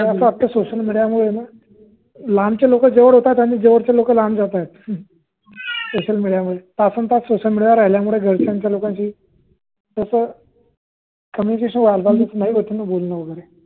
Social मिडीयामुळे लांबचे लोक जवळ येत आहेत आणि जवळचे लोक लांब जात आहेत. सोशल मिडीया मुळे तास न तास सोशल मिडीया वर राहिल्यामुळे घरच्या लोकांशी communication हाेत नाही आहे.